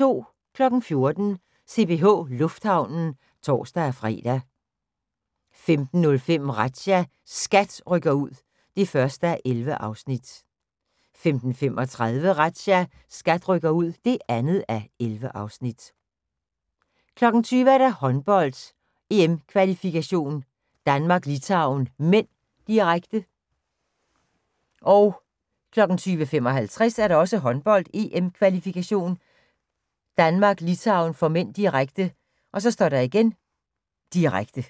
14:00: CPH Lufthavnen (tor-fre) 15:05: Razzia – SKAT rykker ud (1:11) 15:35: Razzia – SKAT rykker ud (2:11) 20:00: Håndbold, EM-kval.: Danmark-Litauen (m), direkte 20:55: Håndbold, EM-kval.: Danmark-Litauen (m) direkte, direkte